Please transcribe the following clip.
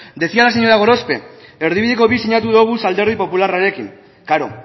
decía la señora gorospe erdibideko bi sinatu doguz alderdi popularrarekin klaro